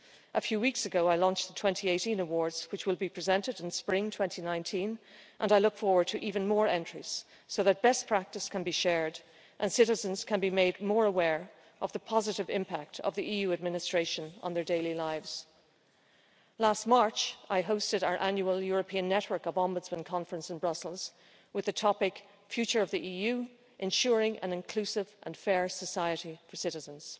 A few weeks ago I launched the 2018 awards, which will be presented in spring 2019, and I look forward to even more entries so that best practice can be shared and citizens can be made more aware of the positive impact of the EU administration on their daily lives. Last March I hosted our annual European Network of Ombudsmen conference in Brussels, with the topic Future of the EU Ensuring an inclusive and fair society for citizens'.